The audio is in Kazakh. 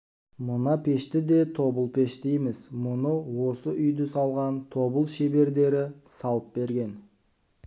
мына пешті де тобыл-пеш дейміз мұны да осы үйді салған тобыл шебердері салып берген